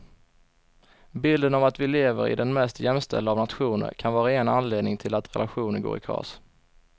Bilden av att vi lever i den mest jämställda av nationer kan vara en anledning till att relationer går i kras.